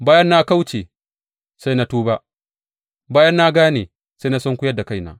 Bayan na kauce, sai na tuba; bayan na gane, sai na sunkuyar da kaina.